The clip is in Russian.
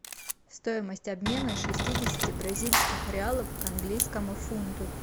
стоимость обмена шестидесяти бразильских реалов к английскому фунту